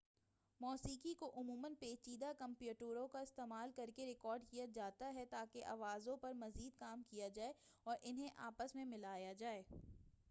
موسیقی کو عموماً پیچیدہ کمپیوٹروں کا استعمال کرکے ریکارڈ کیا جاتا ہے تاکہ آوازوں پرمزید کام کیا جائے اور اُنہیں آپس میں مِلایا جائے